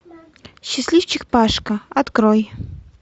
счастливчик пашка открой